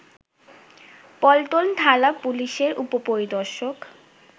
পল্টন থানা পুলিশের উপপরিদর্শক